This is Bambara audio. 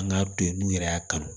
An k'a to yen n'u yɛrɛ y'a kanu